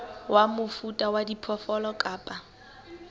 wa mofuta wa diphoofolo kapa